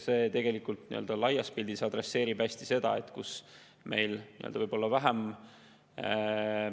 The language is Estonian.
Neis omavalitsustes, millel on vähem raha, on tihti ka pensionäride osakaal suurem.